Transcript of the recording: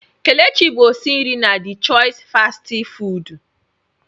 Kelechi bụ osi nri na DE chois fastị fụụdụ.